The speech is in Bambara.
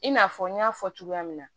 I n'a fɔ n y'a fɔ cogoya min na